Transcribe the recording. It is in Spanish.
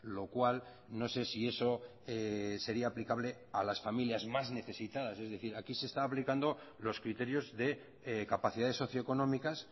lo cual no sé si eso sería aplicable a las familias más necesitadas es decir aquí se está aplicando los criterios de capacidades socioeconómicas